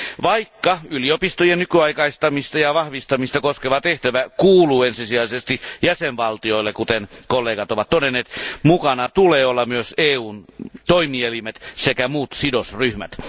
Vaikka yliopistojen nykyaikaistamista ja vahvistamista koskeva tehtävä kuuluu ensisijaisesti jäsenvaltioille, kuten kollegat ovat todenneet, mukana tulee olla myös EUn toimielimet sekä muut sidosryhmät.